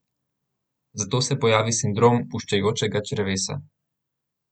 Zato se pojavi sindrom puščajočega črevesa.